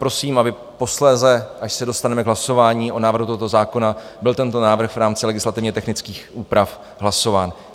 Prosím, aby posléze, až se dostaneme k hlasování o návrhu tohoto zákona, byl tento návrh v rámci legislativně technických úprav hlasován.